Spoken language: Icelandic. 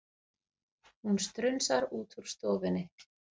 Hún strunsar út úr stofunni.